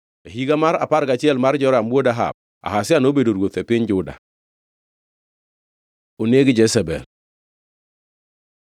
E higa mar apar gachiel mar Joram wuod Ahab, Ahazia nobedo ruoth e piny Juda. Oneg Jezebel